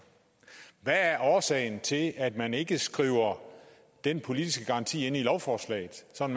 hvad er årsagen til at man ikke skriver den politiske garanti ind i lovforslaget så vi